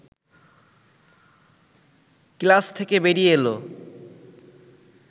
class থেকে বেরিয়ে এল